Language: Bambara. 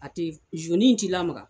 A tɛ t'i lamaga.